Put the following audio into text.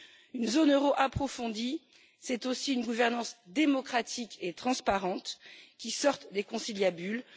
Une zone euro approfondie, c'est aussi une gouvernance démocratique et transparente qui sort des conciliabules.